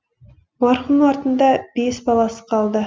марқұмның артында бес баласы қалды